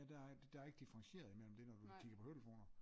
Ja der er der er ikke differentieret i mellem det når du kigger på hovedtelefoner